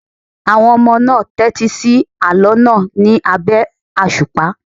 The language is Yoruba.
Àwọn ọmọ náà tẹ́tí sí àlọ́ náà ní abẹ́ àṣùpá.